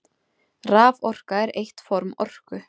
Raforka er eitt form orku.